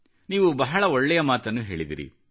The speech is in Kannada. ನೀವು ಬಹಳ ಒಳ್ಳೆಯ ಮಾತನ್ನು ಹೇಳಿದಿರಿ